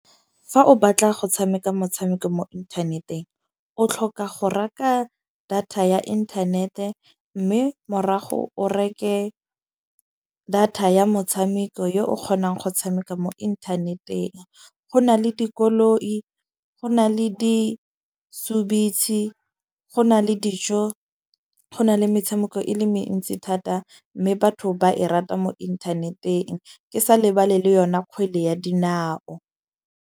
Fa o batla go tshameka motshameko mo inthaneteng, o tlhoka go reka data ya inthanete. Mme morago o reke data ya motshameko yo o kgonang go tshameka mo inthaneteng. Go na le dikoloi, go na le disubitse . Go na le dijo, go na le metshameko e le mentsi thata. Mme batho ba e rata mo inthaneteng ke sa lebale le yona kgwele ya dinao.